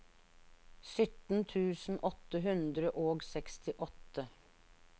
sytten tusen åtte hundre og sekstiåtte